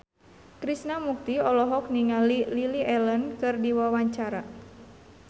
Krishna Mukti olohok ningali Lily Allen keur diwawancara